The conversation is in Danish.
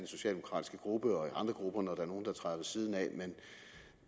socialdemokratiske gruppe og i andre grupper når der er nogen der træder ved siden af men